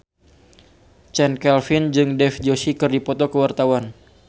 Chand Kelvin jeung Dev Joshi keur dipoto ku wartawan